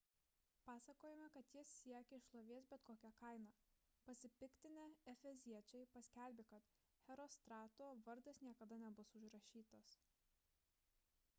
pasakojama kad jis siekė šlovės bet kokia kaina pasipiktinę efeziečiai paskelbė kad herostrato vardas niekada nebus užrašytas